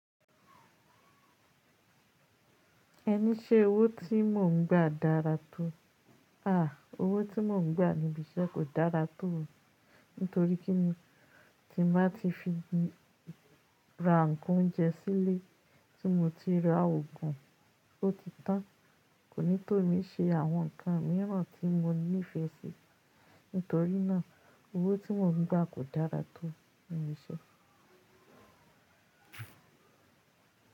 Ẹní ṣé owó tí mò ń gbà dára tó? À, owó tí mò ń gbà níbi iṣẹ́ kò dára tó, nítorí kíni ti n bá tí fi ra ǹkan oúnjẹ sílé tí mo ti ra òògùn, ó ti tàn. Kò ní tò mí ṣe àwọn ǹkan míràn tí mo nífẹ̀ẹ́ sí, nítorínà owó tí mò ń gbà kò dára tó níbi iṣẹ́.